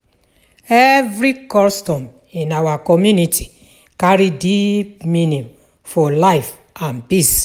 Every custom in our community carry deep meaning for life and peace.